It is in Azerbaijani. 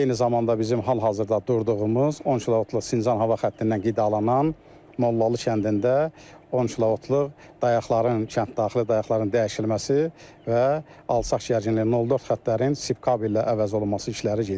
Eyni zamanda bizim hal-hazırda durduğumuz 10 kilovoltluq Sincan hava xəttindən qidalanan Mollalı kəndində 10 kilovoltluq dayaqların kənd daxili dayaqların dəyişilməsi və alçaq gərginlikli 0.4 xətlərin sip kabellə əvəz olunması işləri gedir.